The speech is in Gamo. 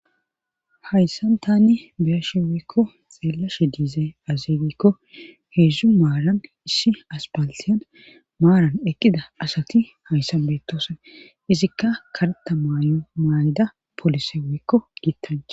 hayssan tani beeshi weykko xeelashe diizay azeegikko heedzdzu maaran issi aspaltiyan maaran eqqida asati hayssan betoosan izikka kareta maayo maay7ida polise wekko giittane